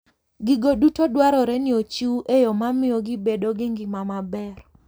Gigo duto dwarore ni ochiw e yo mamiyo gibedo gi ngima maber.